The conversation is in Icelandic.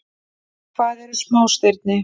Hvað eru smástirni?